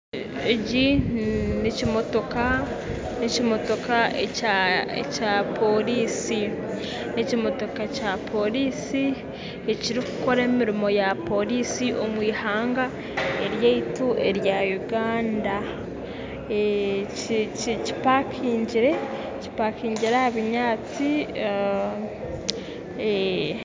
Eki n'ekimotoka n'ekimotoka ekya ekya poriisi n'ekimotoka kya poriisi ekirikukora emirimo ya poriisi omu eihanga ryaitu erya uganda, kipakingire kipakingire aha binyaatsi.